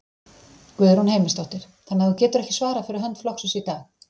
Guðrún Heimisdóttir: Þannig að þú getur ekki svarað fyrir hönd flokksins í dag?